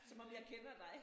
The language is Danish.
Som om jeg kender dig